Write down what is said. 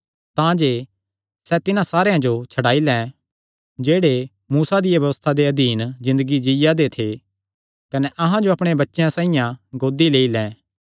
तांजे सैह़ तिन्हां सारेयां जो छड्डाई लैं जेह्ड़े मूसा दिया व्यबस्था दे अधीन ज़िन्दगी जीआ दे थे कने अहां जो अपणे बच्चेयां साइआं गोद लेई लैं